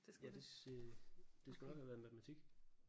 Ja det det skulle nok have været matematik